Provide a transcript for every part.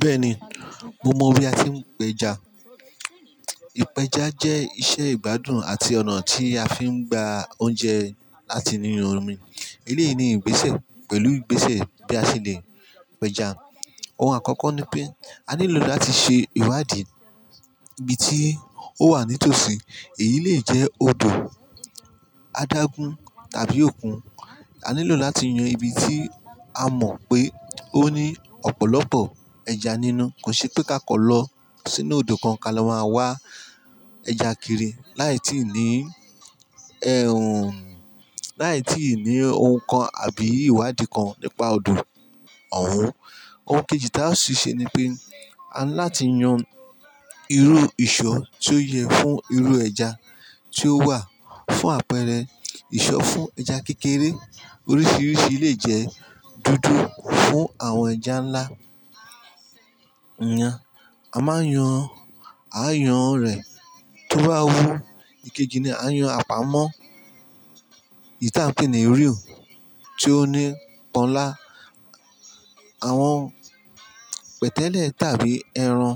Bẹ́ẹ̀ni, mo mọ bí a tí ń pẹja. Ipeja jẹ́ iṣẹ́ ìgbádùn àti ọ̀nà tí a fi ń gba oúnjẹ láti nínú omi. Èléyì ní ìgbésẹ̀ pẹ̀lú ìgbésẹ̀ bí a ṣe lè pẹja. Ohun àkọ́kọ́ ni pé a nílò láti ṣe ìwádìí ibi tí ó wà nítòsí. Èyí lè jẹ́ odò adágún tàbí òkun. A nílò láti yan ibi tí a mọ̀ pé ó ní ọ̀pọ̀lọpọ̀ ẹja nínú. Kò ṣe pé ká kọ̀ lọ sínú odò kan ka lọ máa wá ẹja kiri láì tí ì ní ẹhùn, láì tí ì ní ohun kan àbí ìwádìí kan nípa odò ọ̀hún. Ohun kejì táa sì ṣe ni pé a ńláti yan irú ìṣọ́ tí ó yẹ fún irú ẹja tí ó wà. Fún àpẹẹrẹ ìṣọ́ fún ẹja kékeré oríṣiríṣi lè jẹ́ dúdú. Fún àwọn ẹja ńlá, yan, a máa yan, a yàn rẹ̀ tó bá wù. Ikeji ni a yan àpamọ́, èyí tí à ń pè ní reel tí ó ní pọ́nńlá, àwọn pẹ̀tẹ́lẹ̀ tàbí ẹran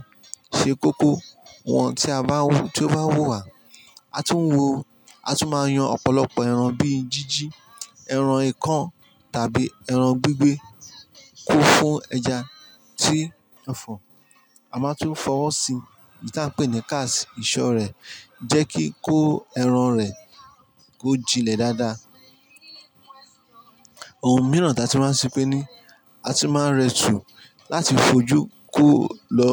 ṣe kókó. Wọn tí a bá, tí ó bá wù wá, a tún wo, a tún máa yan ọ̀pọ̀lọpọ̀ ẹran bí i jíjí, ẹran ìkan tàbí ẹran gbígbẹ kó fún ẹja tí a fọ̀. A máa tún fọwọ́ sí ìta pè ní cast, ìṣọ́ rẹ̀ jẹ́ kí kó ẹran rẹ̀ kó jinlẹ̀ dáadáa. Ohun mìíràn taa túmá ṣe pé ní a tún máa rẹ́tù láti fojú kó lọ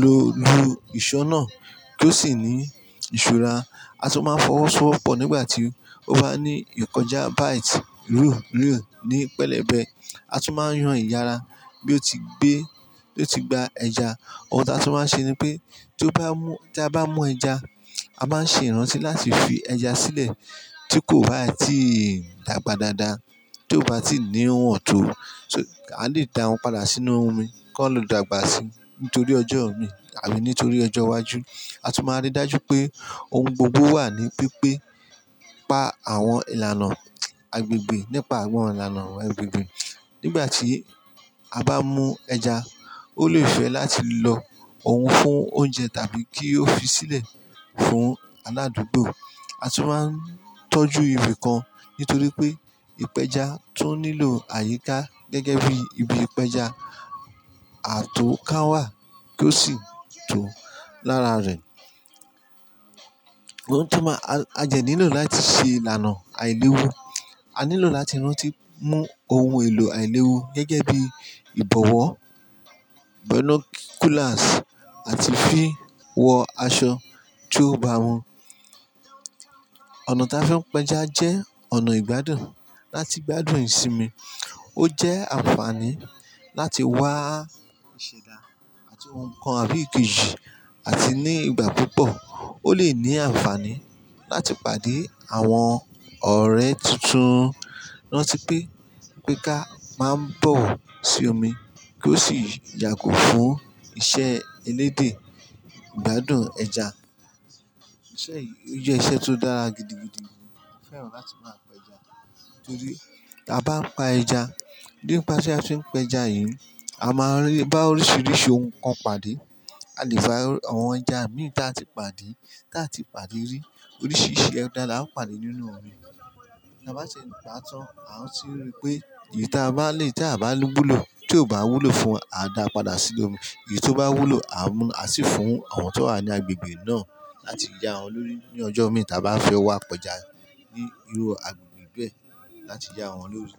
lu ìṣọ́ náà kí ó sì ní ìṣúra. A tún máa ń fọwọ́sowọ́pọ̀ nígbà tí ó bá ní ìkọjá byte, reel, reel ní pẹ̀lẹ́bẹ́. A tún máa yan ìyára bí ó ti gbé, bí ó ti gba ẹja. Ohun táa tún máa ṣe ni pé tí ó bá mú, tí a bá mú ẹja, a má ń ṣe ìrántí láti fi ẹja sílẹ̀ tí kò bá tí dàgbà dáadáa, tí ó bá tí níwọ̀n tó. A lè da wọn padà sínú omi kan lo dàgbà sí nítorí ọjọ́ omi tàbí nítorí ọjọ́ iwájú. A tún máa rí dájú pé ohun gbogbo wà ní pípé. Pa àwọn ìlànà agbègbè nípa àwọn ìlànà agbègbè. Nígbà tí a bá mú ẹja, ó lè fẹ́ láti lọ òun fún oúnjẹ tàbí kí ó fi sílẹ̀ fún aládùúgbò. A tún máa ń tọ́jú ibi kan nítorí pé ìpẹja tún nílò àyíká gẹ́gẹ́ bí ibi ìpẹja. A tún káwá kí ó sì tò lára rẹ̀. Ohun tí máa, a jẹ́ nílò láti ṣe ìlànà àìlewu. A nílò láti rántí mú ohun èlò àìlewu gẹ́gẹ́ bí ìbọ̀wọ́, binoculars àti fí wọ aṣọ tí ó bá won. Ọ̀nà tí a fi ń pẹja jẹ́ ọ̀nà ìgbádùn. Láti gbádùn ìsinmi, ó jẹ́ àǹfààní láti wá ìṣẹ̀dá àti ohun kan àbí ìkejì àti ní ìgbà púpọ̀. Ó lè ní àǹfààní láti pàdé àwọn ọ̀rẹ́ tuntun. Rántí pé ìpẹ́ká máa ń bọ̀ sí omi kí ó sì yàgò fún iṣẹ́ elédè ìgbádùn ẹja. Isẹ̀ yí jẹ́ iṣẹ́ tó dára gidi, gidi. Mo fẹ́ràn láti máa pẹja nítorí tí a bá ń pa ẹja, nípasẹ̀ a fi ń pẹja yìí, a máa rí, bá oríṣiríṣi ohun kan pàdé. A lè fa àwọn ẹja mìíràn tí a ti pàdé, tí a ti pàdé rí. Oríṣiríṣi ẹja láa ń pàdé nínú omi. Tí a bá ṣe pàá tan, à ń tún rí pé èyí tí a bá lè, tí a bá lún wúlò, tí ó bá wúlò fún wa, à dá padà sí inú omi. Èyí tí ó bá wúlò, a mú, a sì fún àwọn tí ó wà ní agbègbè náà láti yá wọn lórí ní ọjọ́ omi tí a bá fẹ́ wá pẹja ní irú agbègbè bẹ́ẹ̀ láti yá wọn lórí.